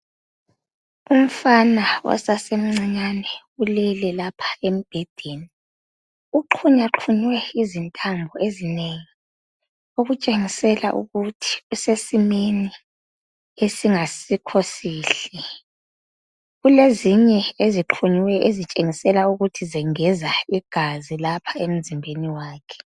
Umfana osasemncinyane ulele lapha embhedeni uxhunywa xhunywe izintambo ezinengi . Okutshengisela ukuthi usesimeni esingasikho sihle .Kulezinye ezixhunyiweyo ezitshengisela ukuthi zengeza igazi lapha emzimbeni wakhe .